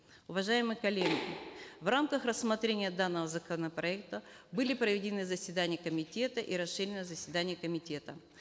уважаемые коллеги в рамках рассмотрения данного законопроекта были проведены заседания комитета и расширенное заседание комитета